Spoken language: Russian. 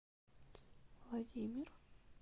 владимир